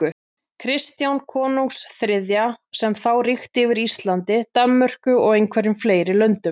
Kristjáns konungs þriðja, sem þá ríkti yfir Íslandi, Danmörku og einhverjum fleiri löndum.